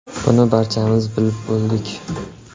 Buni barchamiz bilib bo‘ldik.